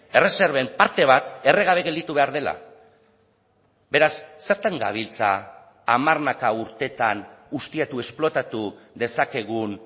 erreserben parte bat erre gabe gelditu behar dela beraz zertan gabiltza hamarnaka urtetan ustiatu esplotatu dezakegun